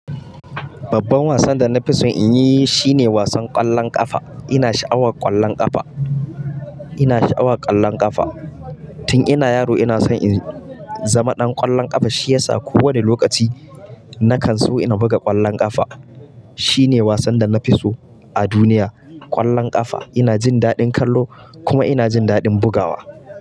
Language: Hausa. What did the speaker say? Babban wasan da na fi so in yi shine wasan ƙwallon ƙafa. Ina sha'awar ƙwallon ƙafa. Ina sha'awar ƙwallon ƙafa. Tun ina yaro ina so in zama ɗan ƙwallon ƙafa, shi yasa kowane lokaci na kan so ina buga ƙwallon ƙafa. Shi ne wasan da na fi so a duniya, ƙwallon ƙafa. Ina jin daɗin kallo kuma ina jin daɗin bugawa.